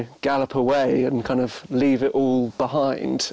prófaði að lifa eins